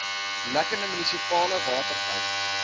lekkende munisipale waterpype